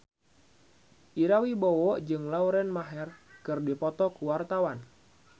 Ira Wibowo jeung Lauren Maher keur dipoto ku wartawan